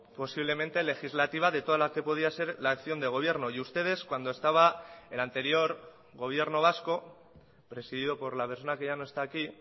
posiblemente legislativa de toda la que podía ser la acción de gobierno y ustedes cuando estaba el anterior gobierno vasco presidido por la persona que ya no está aquí